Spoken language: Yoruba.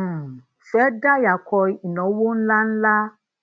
um fẹ dayako inawo ńláńlá